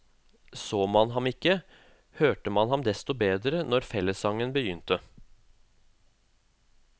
Så man ham ikke, hørte man ham desto bedre når fellessangen begynte.